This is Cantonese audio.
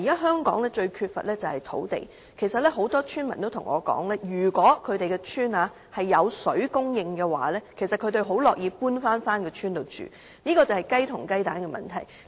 香港現時最缺乏的是土地，其實很多村民都跟我說，如果他們的鄉村有食水供應，他們很樂意搬回鄉村居住，這是雞和雞蛋的問題。